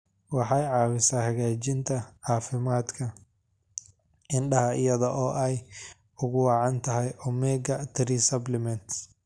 Waxay caawisaa hagaajinta caafimaadka indhaha iyada oo ay ugu wacan tahay omega-3 supplements.